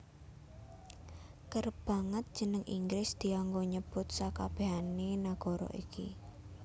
Kerep banget jeneng Inggris dianggo nyebut sakabèhané nagara iki